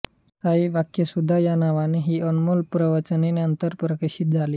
साई वाक्सुधा या नावाने ही अनमोल प्रवचने नंतर प्रकाशित झाली